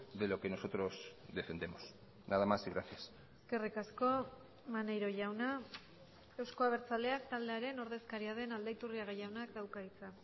de lo que nosotros defendemos nada más y gracias eskerrik asko maneiro jauna euzko abertzaleak taldearen ordezkaria den aldaiturriaga jaunak dauka hitza